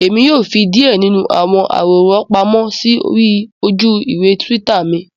Èmi yóò fí díè nínú àwọn àwòrán pàmò sórí ojú-ìwé twitter mí